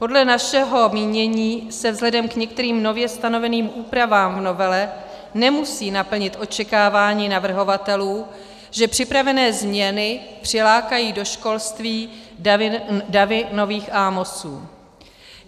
Podle našeho mínění se vzhledem k některým nově stanoveným úpravám v novele nemusí naplnit očekávání navrhovatelů, že připravené změny přilákají do školství davy nových Amosů.